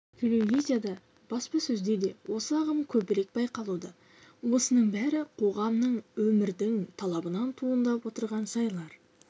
телевизияда да баспасөзде де осы ағым көбірек байқалуда осының бәрі қоғамның өмірдің талабынан туындап отырған жайлар